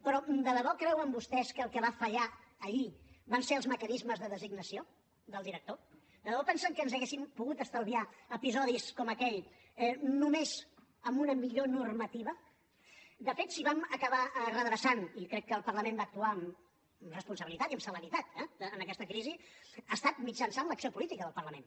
però de debò creuen vostès que el que va fallar allí van ser els mecanismes de designació del director de debò pensen que ens hauríem pogut estalviar episodis com aquell només amb una millor normativa de fet si ho vam acabar redreçant i crec que el parlament va actuar amb responsabilitat i amb celeritat eh en aquesta crisi ha estat mitjançant l’acció política del parlament